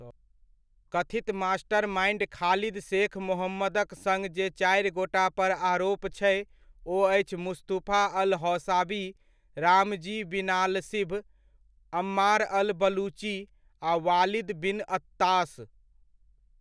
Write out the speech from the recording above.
कथित mastermind Khalid Sheikh मोहम्मदक सङ्ग जे चारिगोटापर आरोप छै, ओ अछि Mustafa al Hawsawi, Ramzi Binalshibh, Ammar al Baluchi, आ वालिद बिन अत्ताश।